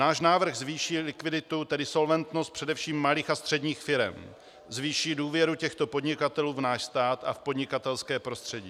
Náš návrh zvýší likviditu, tedy solventnost, především malých a středních firem, zvýší důvěru těchto podnikatelů v náš stát a v podnikatelské prostředí.